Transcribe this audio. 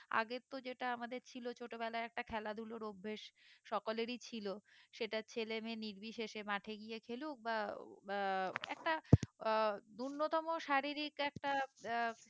আগের তো যেটা আমাদের ছিল ছোট বেলায় একটা খেলা ধুলার অভ্যেস সকলেরই ছিল সেটা ছেলে মেয়ে নির্বিশেষে মাঠে গিয়ে খেলুক বা বা একটা আহ উন্নতম শারীরিক একটা আহ